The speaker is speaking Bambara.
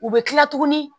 U bɛ kila tuguni